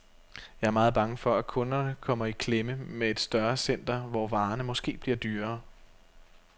Jeg er meget bange for, at kunderne kommer i klemme med et større center, hvor varerne måske bliver dyrere.